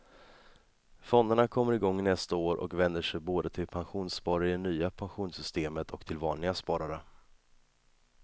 Fonderna kommer igång nästa år och vänder sig både till pensionssparare i det nya pensionssystemet och till vanliga sparare.